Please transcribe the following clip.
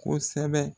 Kosɛbɛ